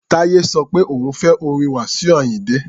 Táyé sọ pé òun ò fẹ́ orin Wasiu Ayinde.